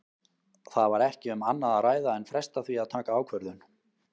Það var ekki um annað að ræða en fresta því að taka ákvörðun.